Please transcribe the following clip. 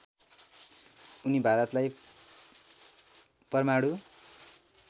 उनी भारतलाई परमाणु